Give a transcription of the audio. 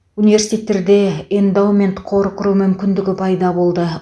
университеттерде эндаумент қор құру мүмкіндігі пайда болды